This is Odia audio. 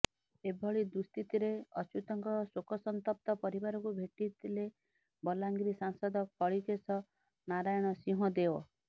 ଏଭଳି ଦୁଃସ୍ଥିତିରେ ଅଚ୍ୟୁତଙ୍କ ଶୋକସନ୍ତପ୍ତ ପରିବାରକୁ ଭେଟିଥିଲେ ବଲାଙ୍ଗିର ସାଂସଦ କଳିକେଶ ନାରାୟଣ ସିଂହଦେଓ